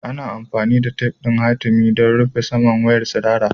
Ana amfani da tef ɗin hatimi don rufe saman wayar tsirara.